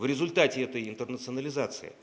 в результате этой интернационализации